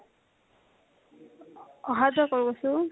আহা যোৱা কৰো কৈছো ।